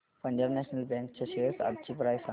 Punjab National Bank च्या shares आजची price सांगा